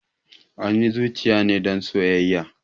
Anyi zuciya ne don soyaya